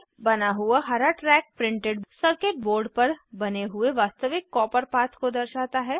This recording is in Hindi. बना हुआ हरा ट्रैक प्रिंटेड सर्किट बोर्ड पर बने हुए वास्तविक कॉपर पाथ को दर्शाता है